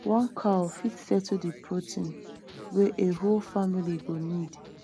one cow fit settle de protein wey a whole family go need